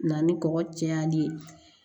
Na ni kɔkɔ cayali ye